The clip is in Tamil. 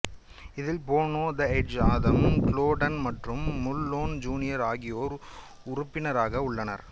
இதில் Bono the Edge Adam Clayton மற்றும் முல்லேன் ஜூனியர் ஆகியோர் உறுப்பினர்களாக உள்ளனர்